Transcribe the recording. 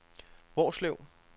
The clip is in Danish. Hvorslev